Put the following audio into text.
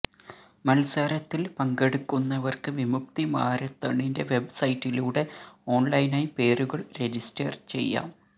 മത്സരത്തില് പങ്കെടുക്കുന്നവര്ക്ക് വിമുക്തി മാരത്തണിന്റെ വെബ് സൈറ്റിലൂടെ ഓണ്ലൈനായി പേരുകള് രജിസ്റ്റര് ചെയ്യാം